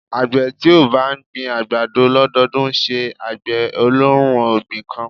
Àgbẹ̀ tí ó bá ń gbin àgbàdo lọ́dọdún ńṣe àgbẹ̀ olóhun ọ̀gbìn kan.